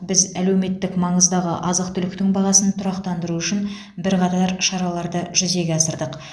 біз әлеуметтік маңыздағы азық түліктің бағасын тұрақтандыру үшін бірқатар шараларды жүзеге асырдық